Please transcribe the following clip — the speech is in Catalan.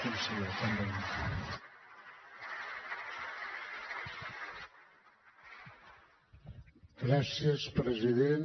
gràcies president